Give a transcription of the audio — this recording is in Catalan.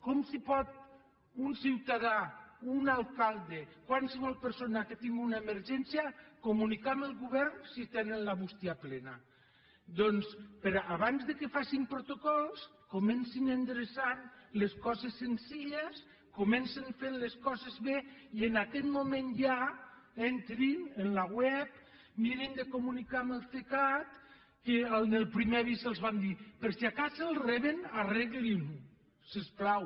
com pot un ciutadà un alcalde qualsevol persona que tingui una emergència comunicar amb el govern si tenen la bústia plena doncs abans que facin protocols comencin endreçant les coses senzilles comencin fent les coses bé i en aquest moment ja entrin en la web mirin de comunicar amb el cecat que en el primer avís els vam dir per si de cas el reben arreglinho si us plau